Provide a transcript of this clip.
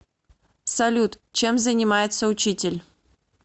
салют чем занимается учитель